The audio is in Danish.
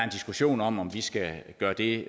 diskussion om om vi skal gøre det